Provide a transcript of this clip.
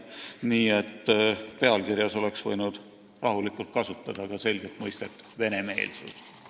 Nii et arupärimise pealkirjas oleks võinud rahulikult kasutada selget mõistet "venemeelsus".